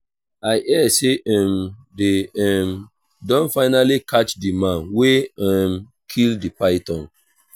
i hear say um dey um don finally catch the man wey um kill the python